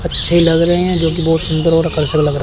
अच्छे लग रहे हैं जो की बहुत सुंदर और आकर्षक लग रहे--